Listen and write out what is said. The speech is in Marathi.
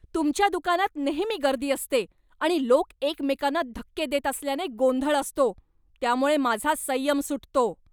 तुमच्या दुकानात नेहमी गर्दी असते आणि लोक एकमेकांना धक्के देत असल्याने गोंधळ असतो, त्यामुळे माझा संयम सुटतो.